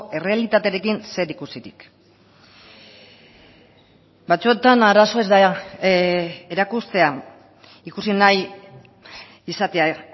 errealitatearekin zerikusirik batzuetan arazoa ez da erakustea ikusi nahi izatea